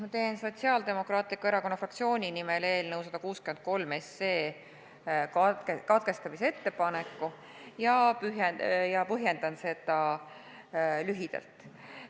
Ma teen Sotsiaaldemokraatliku Erakonna fraktsiooni nimel eelnõu 163 menetluse katkestamise ettepaneku ja põhjendan seda lühidalt.